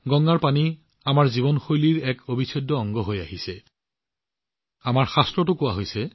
গংগাৰ পানী আমাৰ জীৱন শৈলীৰ এক অবিচ্ছেদ্য অংগ হৈ আহিছে আৰু আমাৰ শাস্ত্ৰতো কোৱা হৈছে